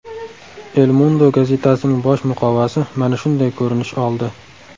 El Mundo gazetasining bosh muqovasi mana shunday ko‘rinish oldi: !